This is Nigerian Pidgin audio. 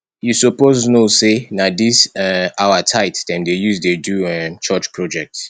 you suppose know sey na dis um our tithe dem dey use do um church project